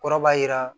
Kɔrɔ b'a jira